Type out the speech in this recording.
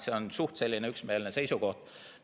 See on suhteliselt üksmeelne seisukoht.